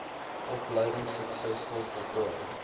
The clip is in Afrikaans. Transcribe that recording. opleiding suksesvol voltooi